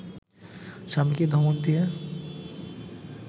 স্বামীকে ধমক দিয়ে